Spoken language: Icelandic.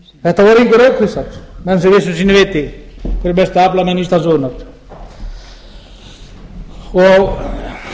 þetta voru engir aukvisar menn sem vissu sínu viti voru mestu aflamenn íslandssögunnar maður